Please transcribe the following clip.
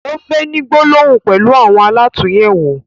O fẹ ni gbólóhùn pẹlu àwọn alàtúnyẹwò.